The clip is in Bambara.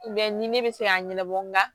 ni ne bɛ se k'a ɲɛnabɔ nga